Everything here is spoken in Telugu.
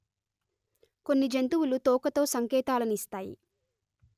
కొన్ని జంతువులు తోకతో సంకేతాలనిస్తాయి